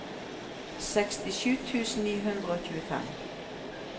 sekstisju tusen ni hundre og tjuefem